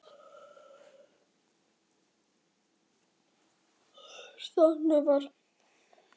Þarna var ég nafnlaus verkamaður í stórum hópi nafnlausra verkamanna.